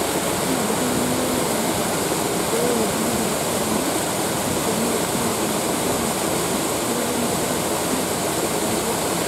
Kenarikino niyiolou eninko pe idumu biashara ino teneishunye enkata enkikento osokoni torkirobi